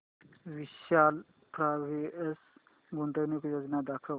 विशाल fabrics गुंतवणूक योजना दाखव